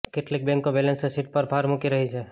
કેટલીક બેન્કો balance sheet પર ભાર મૂકી રહી છે